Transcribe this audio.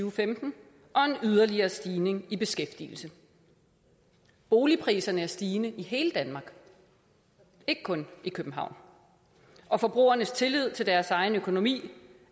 og femten og en yderligere stigning i beskæftigelse boligpriserne er stigende i hele danmark ikke kun i københavn og forbrugernes tillid til deres egen økonomi